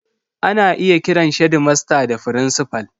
Ana iya kiran shedimasta da frincifal.